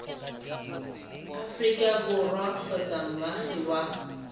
aforika borwa kgotsa moagi wa